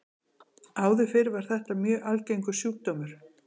Áður fyrr var þetta mjög algengur sjúkdómur.